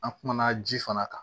An kumana ji fana kan